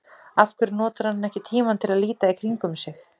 Af hverju notar hann ekki tímann til að líta í kringum sig?